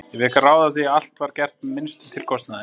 Ég fékk að ráða því að allt var gert með sem minnstum tilkostnaði.